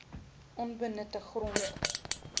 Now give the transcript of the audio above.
onbenutte grond